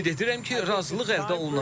Ümid edirəm ki, razılıq əldə olunacaq.